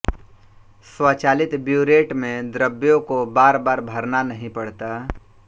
स्वचालित ब्यूरेट में द्रवों को बार बार भरना नहीं पड़ता